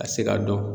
A tɛ se ka dɔn